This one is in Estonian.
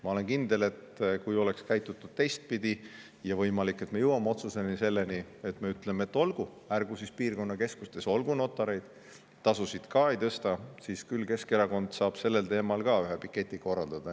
Ma olen kindel, et kui oleks käitutud teistpidi, ja võimalik, et me jõuame otsuseni, et me ütleme, et olgu, ärgu siis piirkonnakeskustes olgu notareid, tasusid me ei tõsta – küll siis Keskerakond saab sellel teemal ka ühe piketi korraldada.